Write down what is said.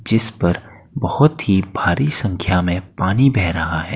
जिस पर बहुत ही भारी संख्या में पानी बह रहा है।